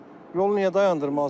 Yolu niyə dayandırmalısan?